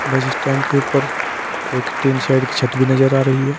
बस स्टैंड के ऊपर एक टीन शेड की छत भी नजर आ रही है।